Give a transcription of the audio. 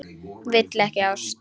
Vill ekki ást.